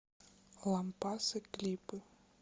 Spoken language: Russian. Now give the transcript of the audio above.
лампасы клипы